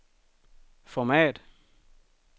format